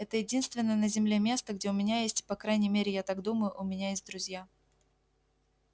это единственное на земле место где у меня есть по крайней мере я так думаю у меня есть друзья